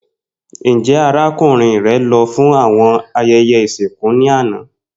Njẹ arakunrin rẹ lọ fun awọn ayẹyẹ isinku ni ana?